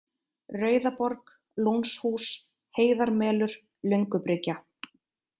Rauðaborg, Lónshús, Heiðarmelur, Löngubryggja